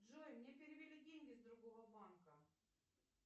джой мне перевели деньги с другого банка